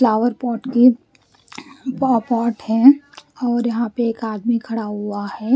Flower pot की पॉ pot है और यहाँ पर एक आदमी खड़ा हुआ है।